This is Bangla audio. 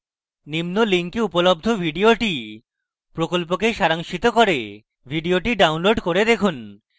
নিম্ন link উপলব্ধ video প্রকল্পকে সারাংশিত করে video download করে দেখুন